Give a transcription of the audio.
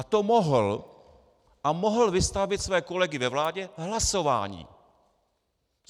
A to mohl a mohl vystavit své kolegy ve vládě hlasování.